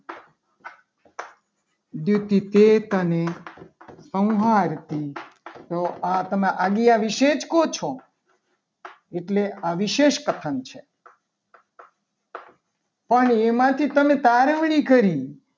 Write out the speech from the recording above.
પેટની સંહારતી તો તમે આની આ વિશેષ કહો છો. એટલે આ વિશેષ પતંગ છે. કથન છે. પણ એમાંથી તમે તારવણી કરી.